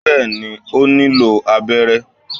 bẹẹni, o nilo abẹrẹ